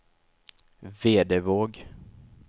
Vedevåg